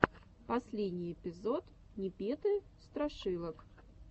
последний эпизод непеты страшилок